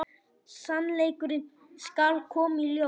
Sannleikurinn skal koma í ljós.